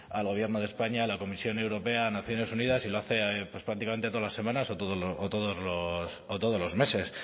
al gobierno de españa a la comisión europea a naciones unidas y lo hace pues prácticamente todas las semanas o todos los meses